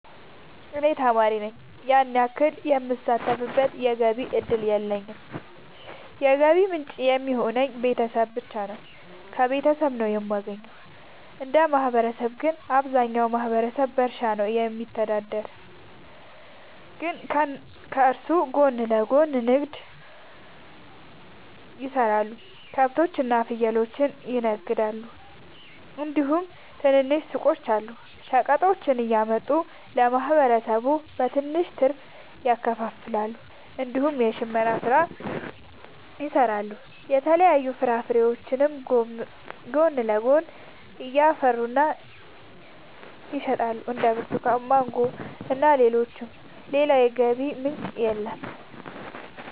እኔ ተማሪ ነኝ ያን ያክል የምሳተፍበት የገቢ እድል የለኝም የገቢ ምንጭ የሚሆኑኝ ቤተሰብ ብቻ ነው። ከቤተሰብ ነው የማገኘው። እንደ ማህበረሰብ ግን አብዛኛው ማህበረሰብ በእርሻ ነው የሚተዳደር ግን ከሱ ጎን ለጎን ንግድ የሰራሉ ከብቶች እና ፍየሎችን ይነግዳሉ እንዲሁም ትናንሽ ሱቆች አሉ። ሸቀጦችን እያመጡ ለማህበረሰቡ በትንሽ ትርፍ ያከፋፍላሉ። እንዲሁም የሽመና ስራ ይሰራሉ የተለያዩ ፍራፍሬዎችንም ጎን ለጎን ያፈሩና ይሸጣሉ እንደ ብርቱካን ማንጎ እና ሌሎችም። ሌላ የገቢ ምንጭ የለም።